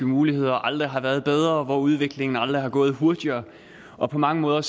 muligheder aldrig har været bedre og hvor udviklingen aldrig har gået hurtigere og på mange måder